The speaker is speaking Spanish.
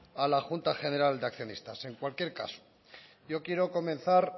a la junta general de accionistas en cualquier caso yo quiero comenzar